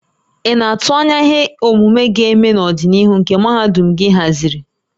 Ị na-atụ anya ihe omume ga-eme n'ọdịnihu nke mahadum gị haziri?